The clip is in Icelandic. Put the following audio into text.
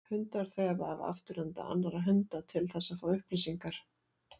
Hundar þefa af afturenda annarra hunda til þess að fá upplýsingar.